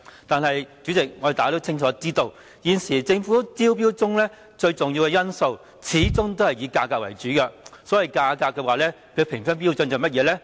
但是，主席，大家都清楚知道，現時政府招標中最重要的因素始終是以價格為主，所謂價格的評分標準是甚麼呢？